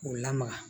K'u lamaga